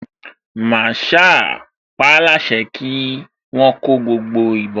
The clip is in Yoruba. Màsáà paáláṣẹ kí wọ́n kó gbogbo ìbọn